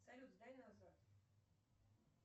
салют сдай назад